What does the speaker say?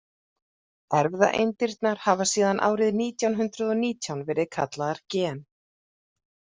Erfðaeindirnar hafa síðan árið nítján hundrað og nítján verið kallaðar gen.